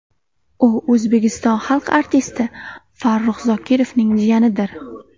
U O‘zbekiston Xalq artisti Farruh Zokirovning jiyanidir.